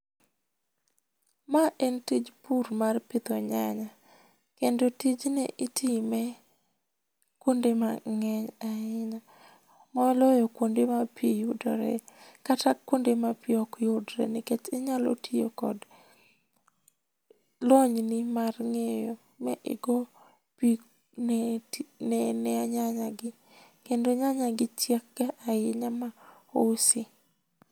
Ma en tij pur mar pidho nyanya kendo tijni itime kuonde mangeny ahinya moloyo kuonde ma pii yudore kata kuonde ma pii ok yudre nikech inya tiyo gi lony ni mar ngeyo ma igo pii ne nyany agi kendo nyany agi chiek ga ahinya ma usi.